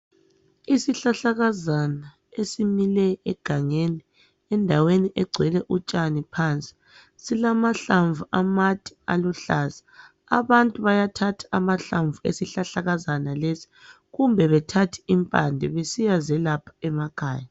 Isihlahlakazana esimile egangeni endaweni egcwele utshani phansi. Silamahlamvu amade aluhlaza. Abantu bayathatha amahlamvu esihlahlakazana lesi kumbe bethathe impande besiyazelapha emakhaya.